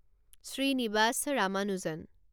Srinivasa Ramanujan